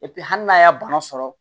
hali n'a y'a bana sɔrɔ